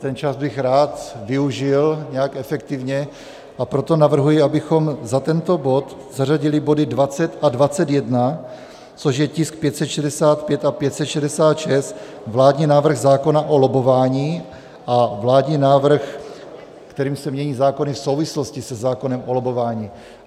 Ten čas bych rád využil nějak efektivně, a proto navrhuji, abychom za tento bod zařadili body 20 a 21, což je tisk 565 a 566 - vládní návrh zákona o lobbování a vládní návrh, kterým se mění zákony v souvislosti se zákonem o lobbování.